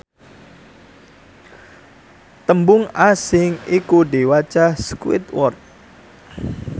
tembung asing iku diwaca squidward